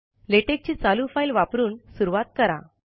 LaTeX ची चालू file वापरून सुरूवात करा